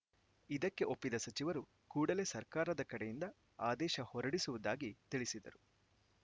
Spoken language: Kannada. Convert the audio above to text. ಇದಕ್ಕೆ ಒಪ್ಪಿದ ಸಚಿವರು ಕೂಡಲೇ ಸರ್ಕಾರದ ಕಡೆಯಿಂದ ಆದೇಶ ಹೊರಡಿಸುವುದಾಗಿ ತಿಳಿಸಿದರು